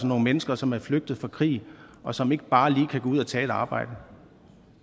nogle mennesker som er flygtet fra krig og som ikke bare lige kan gå ud og tage et arbejde